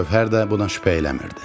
Gövhər də buna şübhə eləmirdi.